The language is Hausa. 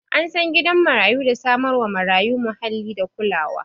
An san gidan marayu da samar wa marayu muhalli da kulawa